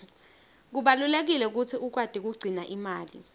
kubalulekile kutsi ukwati kugcina imali